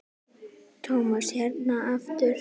Tom hérna aftur.